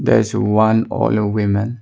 there is a one old woman.